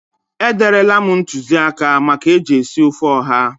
E derela m ntụzịaka maka eji esi ofe ụha.